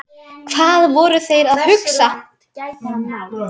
Hvað voru þeir að hugsa?